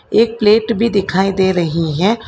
एक प्लेट भी दिखाई दे रही है।